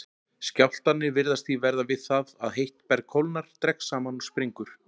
Skjálftarnir virðast því verða við það að heitt berg kólnar, dregst saman og springur.